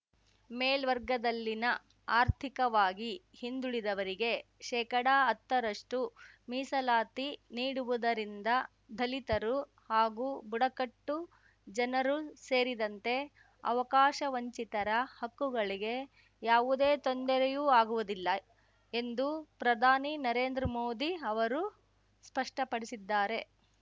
ಮೇಲ್ವರ್ಗದಲ್ಲಿನ ಆರ್ಥಿಕವಾಗಿ ಹಿಂದುಳಿದವರಿಗೆ ಶೇಕಡಹತ್ತರಷ್ಟುಮೀಸಲಾತಿ ನೀಡುವುದರಿಂದ ದಲಿತರು ಹಾಗೂ ಬುಡಕಟ್ಟು ಜನರು ಸೇರಿದಂತೆ ಅವಕಾಶವಂಚಿತರ ಹಕ್ಕುಗಳಿಗೆ ಯಾವುದೇ ತೊಂದರೆಯೂ ಆಗುವುದಿಲ್ಲ ಎಂದು ಪ್ರಧಾನಿ ನರೇಂದ್ರ ಮೋದಿ ಅವರು ಸ್ಪಷ್ಟಪಡಿಸಿದ್ದಾರೆ